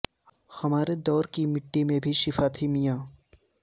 ہمارے دور کی مٹی میں بھی شفا تھی میاں